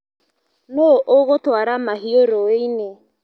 Nũ ũgũtwara mahiũ rũĩini.